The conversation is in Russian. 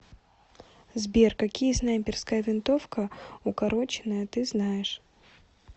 сбер какие снайперская винтовка укороченная ты знаешь